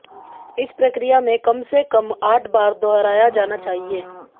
इस प्रक्रिया में कम से कम आठ बार दोहराया जाना चाहिए